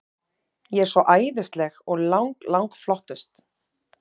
Ég er svo æðisleg og lang, lang flottust.